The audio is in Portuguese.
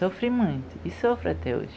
Sofri muito, e sofro até hoje.